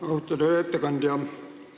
Austatud ettekandja!